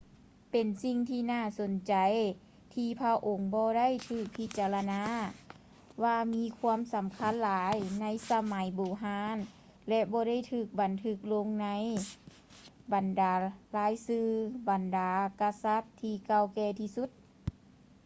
ເປັນສິ່ງທີ່ໜ້າສົນໃຈ ທີ່ພະອົງບໍ່ໄດ້ຖືກພິຈາລະນາວ່າມີຄວາມສຳຄັນຫຼາຍໃນສະໄໝບູຮານ ແລະ ບໍ່ໄດ້ຖືກບັນທຶກລົງໃນບັນດາລາຍຊື່ບັນດາກະສັດທີ່ເກົ່າແກ່ທີ່ສຸດ